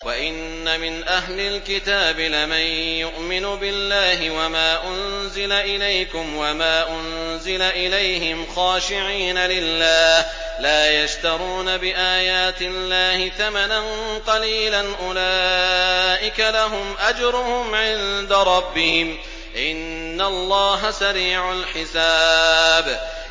وَإِنَّ مِنْ أَهْلِ الْكِتَابِ لَمَن يُؤْمِنُ بِاللَّهِ وَمَا أُنزِلَ إِلَيْكُمْ وَمَا أُنزِلَ إِلَيْهِمْ خَاشِعِينَ لِلَّهِ لَا يَشْتَرُونَ بِآيَاتِ اللَّهِ ثَمَنًا قَلِيلًا ۗ أُولَٰئِكَ لَهُمْ أَجْرُهُمْ عِندَ رَبِّهِمْ ۗ إِنَّ اللَّهَ سَرِيعُ الْحِسَابِ